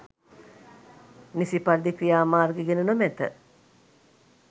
නිසි පරිදි ක්‍රියාමාර්ග ගෙන නොමැත.